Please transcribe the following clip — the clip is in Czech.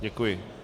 Děkuji.